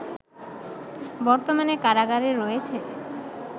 বর্তমানে কারাগারে রয়েছে